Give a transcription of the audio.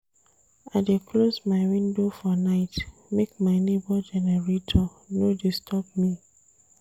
I dey close my window for night make my nebor generator no disturb me.